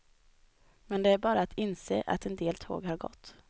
Men det är bara att inse att en del tåg har gått.